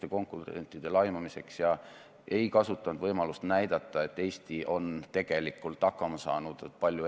Esimene lugemine on lõpetatud ning muudatusettepanekute esitamise tähtaeg on 5. veebruar kell 17.15.